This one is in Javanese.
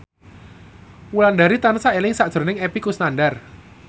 Wulandari tansah eling sakjroning Epy Kusnandar